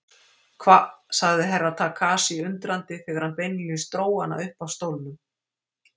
Hva, sagði Herra Takashi undrandi þegar hann beinlínis dró hann upp af stólnum.